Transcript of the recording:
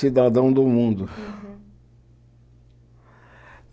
Cidadão do mundo. Uhum